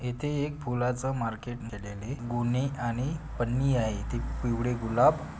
येथे एक फुलाच मार्केट केलेली गोणी आणि पंनी आहे ते पिवडे गुलाब--